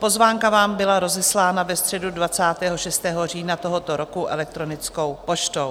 Pozvánka vám byla rozeslána ve středu 26. října tohoto roku elektronickou poštou.